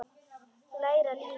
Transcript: Læra lífið.